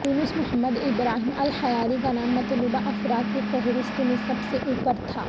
یونس Muhammad Ibrahim al Hiyari کا نام مطلوبہ افراد کی فہرست میں سب سے اوپر تھا